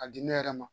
A di ne yɛrɛ ma